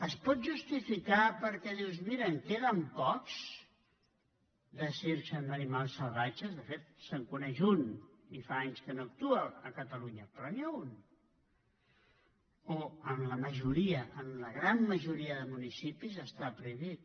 es pot justificar perquè dius mira en queden pocs de circs amb animals salvatges de fet se’n coneix un i fa anys que no actua a catalunya però n’hi ha un o en la majoria en la gran majoria de municipis està prohibit